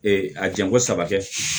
a janko saba kɛ